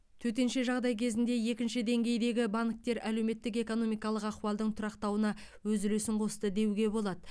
төтенше жағдай кезінде екінші деңгейдегі банктер әлеуметтік экономикалық ахуалдың тұрақтануына өз үлесін қосты деуге болады